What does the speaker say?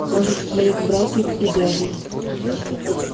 даже в своих братьев и дядей